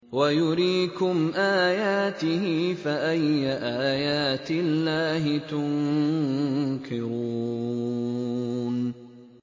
وَيُرِيكُمْ آيَاتِهِ فَأَيَّ آيَاتِ اللَّهِ تُنكِرُونَ